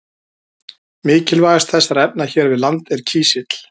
Mikilvægast þessara efna hér við land er kísill.